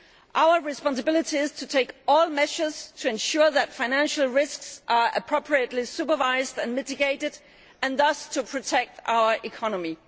Our responsibility is to take all measures to ensure that financial risks are appropriately supervised and mitigated and thus to protect our economy.